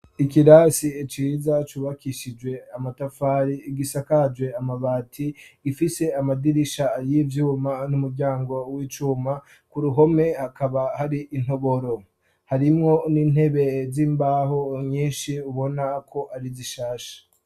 Ikirasi ciza cubakishijwe amatafari igisakaje amabafari ifise amadirisha y'ivyuma n'umuryango w'icuma ku ruhome akaba hari intoboro harimwo n'intebe z'imbaho nyinshi ubona ko ari zishasha.